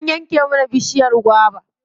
An yanke mana bishiyar gwaba.